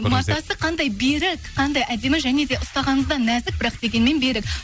матасы қандай берік қандай әдемі және де ұстағаныңызда нәзік бірақ дегенмен берік